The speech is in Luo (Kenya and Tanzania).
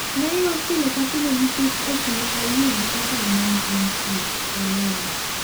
"Nayuak pile ka pile nikech ok ne ayie gi okang' mane antie," olero.